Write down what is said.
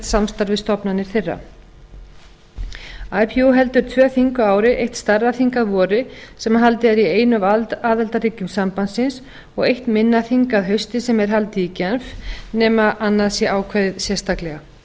við stofnanir þeirra ipu heldur tvö þing á ári eitt stærðarþing að vori sem haldið er í einu af aðildarríkjum sambandsins og eitt minna þing að hausti sem er haldið í genf nema annað sé ákveðið sérstaklega